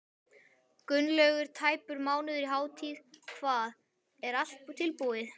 Gunnlaugur, tæpur mánuður í hátíð, hvað, er allt tilbúið?